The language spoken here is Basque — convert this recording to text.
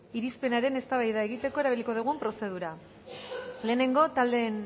irizpenaren eztabaida egiteko erabiliko den prozedura lehenengo